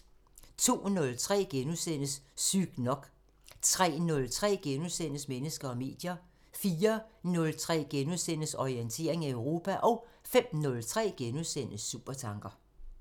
02:03: Sygt nok * 03:03: Mennesker og medier * 04:03: Orientering Europa * 05:03: Supertanker *